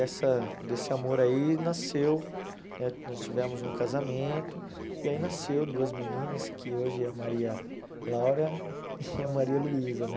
E essa desse amor aí nasceu, eh nós tivemos um casamento, e aí nasceu duas meninas, que hoje é a Maria Laura e a Maria Luísa, né?